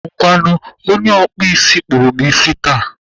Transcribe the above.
Ngwanụ, onye ọkpụ isi kpụrụ m isi taa.